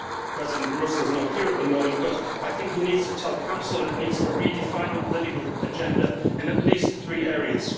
President Barroso is not here at the moment, but I think he needs to tell the Council that it needs to redefine the political agenda in at least three areas.